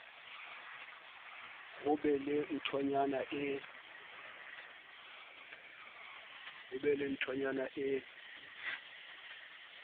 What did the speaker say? ho be le nthonyana e